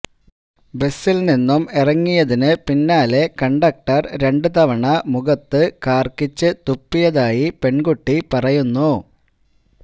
ബസില് നിന്നും ഇറങ്ങിയതിന് പിന്നാലെ കണ്ടക്ടര് രണ്ടു തവണ മുഖത്ത് കാര്ക്കിച്ച് തുപ്പിയതായി പെണ്കുട്ടി പറയുന്നു